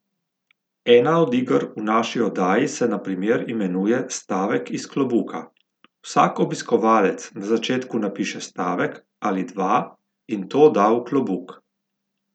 Ena od iger v naši oddaji se na primer imenuje Stavek iz klobuka, vsak obiskovalec na začetku napiše stavek ali dva in to da v klobuk.